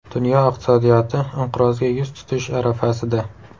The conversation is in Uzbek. Dunyo iqtisodiyoti inqirozga yuz tutish arafasida.